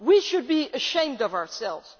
We should be ashamed of ourselves.